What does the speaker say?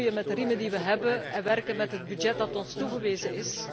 We moeten roeien met de riemen die we hebben en werken met het budget dat ons is toegewezen.